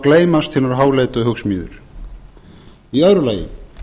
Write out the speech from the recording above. gleymast hinar háleitu hugsmíðir í öðru lagi